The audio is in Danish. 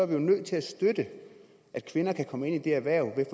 vi var nødt til at støtte at kvinder kunne komme ind i det erhverv ved